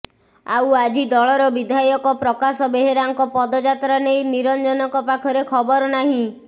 ଆଉ ଆଜି ଦଳର ବିଧାୟକ ପ୍ରକାଶ ବେହେରାଙ୍କ ପଦଯାତ୍ରା ନେଇ ନିରଞ୍ଜନଙ୍କ ପାଖରେ ଖବର ନାହିଁ